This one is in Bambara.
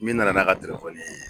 Min nana n'a ka ye